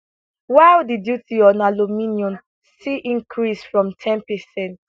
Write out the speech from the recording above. while di duty on aluminium see increase from ten percent